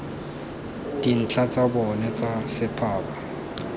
dintlha tsa bona tsa setphaba